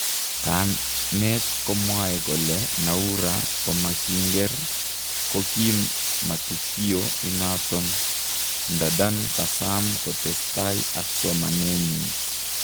Kamet komwae kole Noura komakinger kokim matukio inaton. ndadan kasam kotestai ak somanenyin